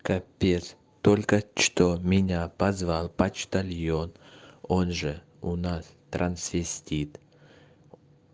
капец только что меня позвал почтальон он же у нас трансвестит